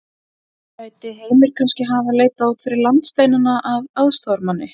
Gæti Heimir kannski hafa leitað út fyrir landsteinana að aðstoðarmanni?